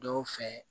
Dɔw fɛ